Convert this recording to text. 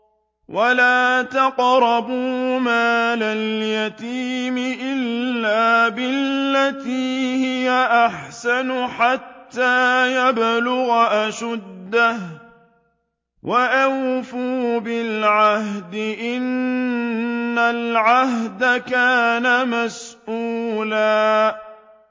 وَلَا تَقْرَبُوا مَالَ الْيَتِيمِ إِلَّا بِالَّتِي هِيَ أَحْسَنُ حَتَّىٰ يَبْلُغَ أَشُدَّهُ ۚ وَأَوْفُوا بِالْعَهْدِ ۖ إِنَّ الْعَهْدَ كَانَ مَسْئُولًا